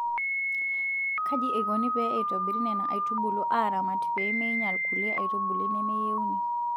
Kaji eikoni pee eitobiri Nena aitubulu aaramat pee meinyal kulie aitubulu nemeyieuni.